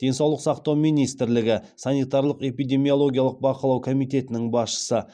денсаулық сақтау министрлігі санитарлық эпидемиологиялық бақылау комитетінің басшысы